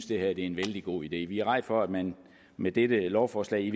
det her er en vældig god idé vi er rædde for at man med dette lovforslag i